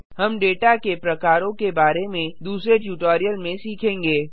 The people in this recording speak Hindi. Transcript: हम डेटा के प्रकारों के बारे में दूसरे ट्यूटोरियल में सीखेंगे